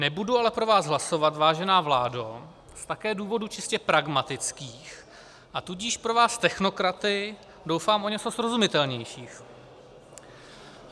Nebudu ale pro vás hlasovat, vážená vládo, také z důvodů čistě pragmatických, a tudíž pro vás technokraty doufám o něco srozumitelnějších.